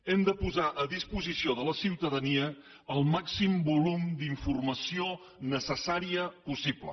hem de posar a disposició de la ciutadania el màxim volum d’informació necessària possible